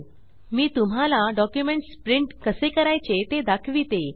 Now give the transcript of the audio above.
मी तुम्हाला documents print कसे करायचे ते दाखविते